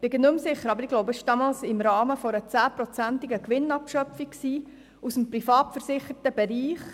Ich bin nicht mehr sicher, aber ich denke, es ging damals um eine zehnprozentige Gewinnabschöpfung aus dem Privatversicherungsbereich.